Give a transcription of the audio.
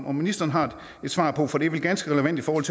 om ministeren har svaret på for det er vel ganske relevant i forhold